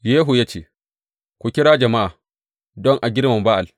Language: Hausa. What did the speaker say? Yehu ya ce, Ku kira jama’a don a girmama Ba’al.